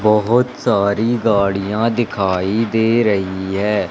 बहोत सारी गाड़ियां दिखाई दे रही है।